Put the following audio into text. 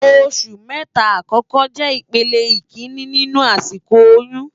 Óṣù mètá àkòkò jè ipélé ikiiní ninú àsikó óyùn